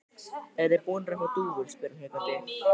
Eruð þið búnir að fá dúfur? spyr hann hikandi.